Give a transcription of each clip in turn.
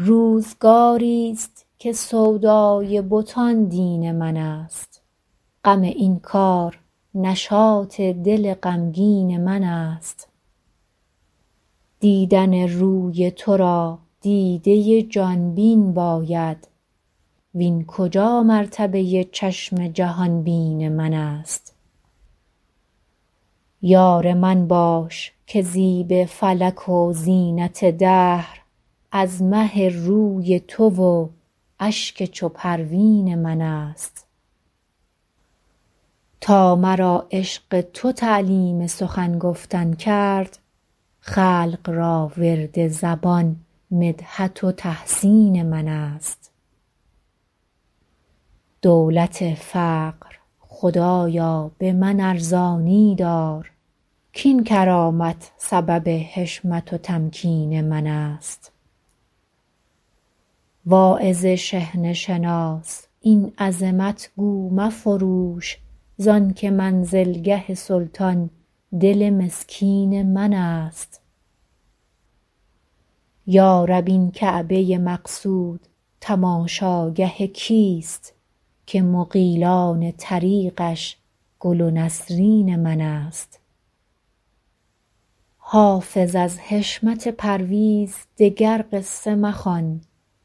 روزگاری ست که سودای بتان دین من است غم این کار نشاط دل غمگین من است دیدن روی تو را دیده ی جان بین باید وین کجا مرتبه ی چشم جهان بین من است یار من باش که زیب فلک و زینت دهر از مه روی تو و اشک چو پروین من است تا مرا عشق تو تعلیم سخن گفتن کرد خلق را ورد زبان مدحت و تحسین من است دولت فقر خدایا به من ارزانی دار کاین کرامت سبب حشمت و تمکین من است واعظ شحنه شناس این عظمت گو مفروش زان که منزلگه سلطان دل مسکین من است یا رب این کعبه ی مقصود تماشاگه کیست که مغیلان طریقش گل و نسرین من است حافظ از حشمت پرویز دگر قصه مخوان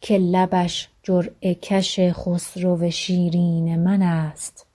که لبش جرعه کش خسرو شیرین من است